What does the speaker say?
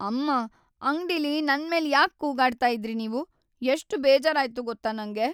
ಅಮ್ಮಾ! ಅಂಗ್ಡಿಲಿ ನನ್ಮೇಲ್ ಯಾಕ್ ಕೂಗಾಡ್ತಾ ಇದ್ರಿ ನೀವು, ಎಷ್ಟ್‌ ಬೇಜಾರಾಯ್ತು ಗೊತ್ತಾ ನಂಗೆ.